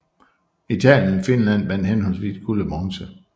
Italien og Finland vandt henholdsvis guld og bronze